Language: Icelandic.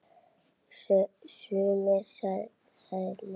Sumir sagði Lilla.